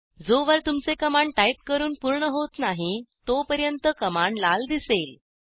जोवर तुमचे command type करून पूर्ण होत नाही तोपर्यंत कमांड लाल दिसेल